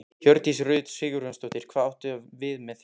Hjördís Rut Sigurjónsdóttir: Hvað áttu við með því?